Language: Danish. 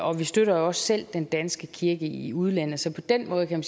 og vi støtter også selv den danske kirke i udlandet så på den måde kan